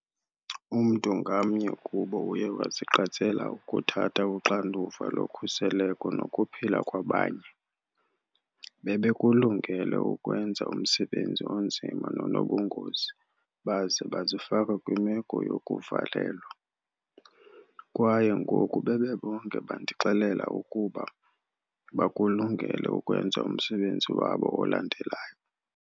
Umntu ngamnye kubo uye wazigqatsela ukuthatha uxanduva lokhuseleko nokuphila kwabanye. Bebekulungele ukwenza umsebenzi onzima nonobungozi baze bazifaka kwimeko yokuvalelwa. Kwaye ngoku, bebebonke bandixelela ukuba, bakulungele ukwenza umsebenzi wabo olandelayo.